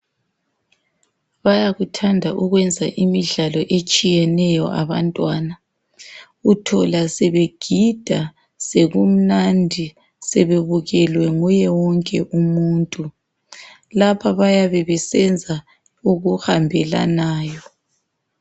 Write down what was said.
Bayakuthanda ukwenza imidlalo etshiyeneyo abantwana uthola sebegida, sekumnandi sebebukelwe nguye wonke umuntu lapha bayabe besenza okuhambelanayo.